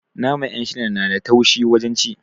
Naman 'yanshila na da taushe wajen ci